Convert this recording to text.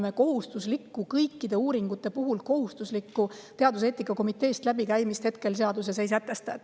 Me kõikide uuringute puhul kohustuslikku teaduseetika komiteest läbikäimist hetkel seaduses ei sätesta.